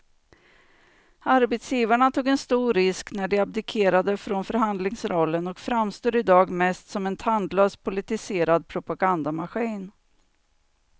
Arbetsgivarna tog en stor risk när de abdikerade från förhandlingsrollen och framstår i dag mest som en tandlös politiserad propagandamaskin.